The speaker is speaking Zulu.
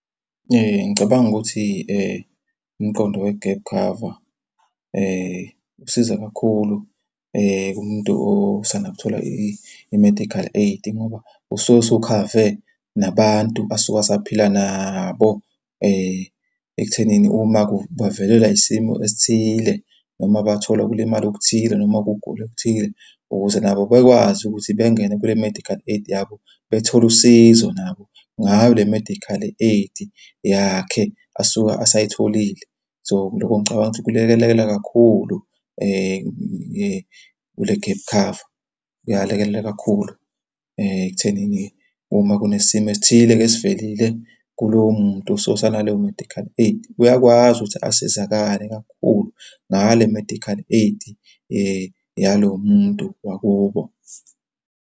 Ngicabanga ukuthi umqondo we-gap cover usiza kakhulu kumuntu osanda kuthola i-medical aid ngoba usuke usukhave nabantu asuke asaphila nabo ekuthenini uma bavelelwa isimo esithile noma bathola ukulimala okuthile noma ukugula okuthile ukuze nabo bekwazi ukuthi bengene kule medical aid yabo bethole usizo nabo ngayo le medical aid yakhe asuka asayitholile. So, lokho ngicabanga ukuthi kulekelela kakhulu kule gap cover. Kuyalekelela kakhulu ekuthenini uma kunesimo esithile-ke esivelile kulowo muntu. So, usanaleyo medical aid, uyakwazi ukuthi asizakale kakhulu ngale medical aid yalo muntu wakubo.